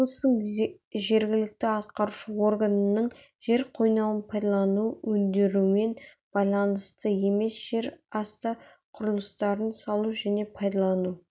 облыстың жергілікті атқарушы органының жер қойнауын пайдалану өндірумен байланысты емес жерасты құрылыстарын салу және пайдалану